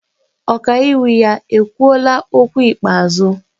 Ọkaiwu ya ekwuola okwu ikpeazụ?